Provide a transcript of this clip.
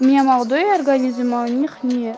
у меня молодой организм а у них не